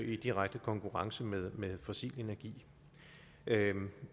i direkte konkurrence med fossil energi